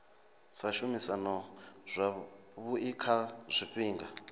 sa shumisana zwavhui kha zwifhinga